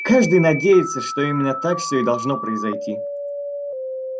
каждый надеется что именно так все и должно произойти